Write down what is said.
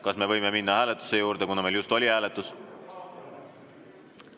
Kas me võime minna hääletuse juurde, kuna meil just oli hääletus?